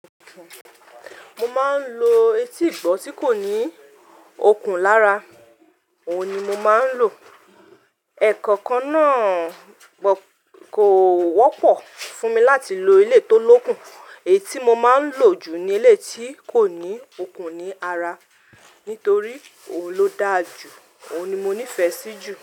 Mo máa ń lo etí ìgbọ́ tí kò ní okùn lára, òun ni mo máa ń lò. Ẹ̀ekọ̀okan náà kò wọ́pọ̀ fún mi láti lo eleyi tó lókùn, èyí tí mo máa ń lò jù ni eleyi tí kò ní okùn ní ara, nítorí òun ló dáa jù, òun ni mo nífẹ̀ẹ́ sí jù.